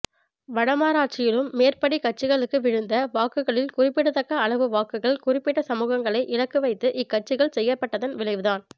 வடமராட்சியிலும் மேற்படி கட்சிகளுக்கு விழுந்த வாக்குகளில் குறிப்பிடத்தக்க அளவு வாக்குகள் குறிப்பிட்ட சமூகங்களை இலக்கு வைத்து இக்கட்சிகள் செயற்பட்டதன் விளைவுதான்